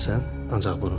Ancaq bunu.